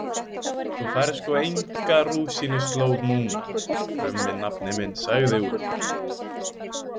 Þú færð sko enga rúsínuslóð núna, krummi nafni minn, sagði Úlfur.